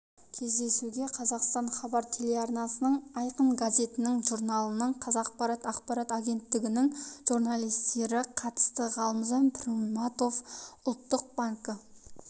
кездесуге қазақстан хабар телеарналарының айқын газетінің журналының қазақпарат ақпарат агенттігінің журналистері қатысты ғалымжан пірматов ұлттық банкі